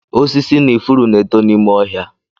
Osisi na ifuru na-eto n'ime ọhịa.